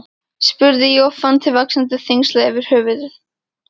spurði ég og fann til vaxandi þyngsla yfir höfðinu.